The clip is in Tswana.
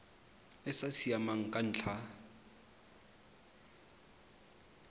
e sa siamang ka ntlha